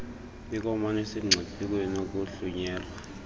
bonkomama basemngciphekweni wokuhlunyelwa